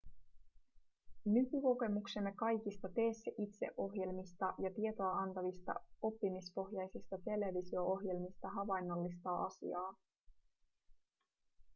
nykykokemuksemme kaikista tee-se-itse-ohjelmista ja tietoa antavista oppimispohjaisista televisio-ohjelmista havainnollistaa asiaa